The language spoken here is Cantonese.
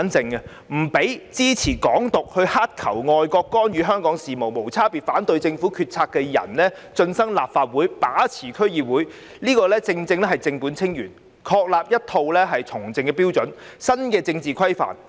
不容支持"港獨"、乞求外國干預香港事務、無差別反對政府決策的人進身立法會、把持區議會，是正本清源，確立一套從政標準及新的政治規範。